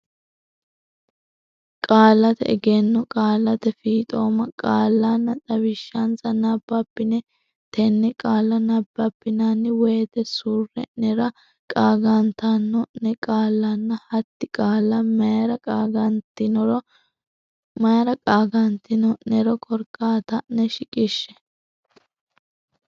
Qaallate Egenno Qaallate Fiixooma qaallanna xawishshansa nabbabbine tenne qaalla nabbabbinanni woyte surre nera qaagantanno ne qaallanna hatti qaalla mayra qaagantino nero korkaata ne shiqishshe.